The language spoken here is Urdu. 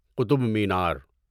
قطب مینار